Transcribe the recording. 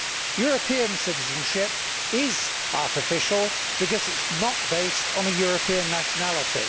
European citizenship is artificial because it is not based on a European nationality.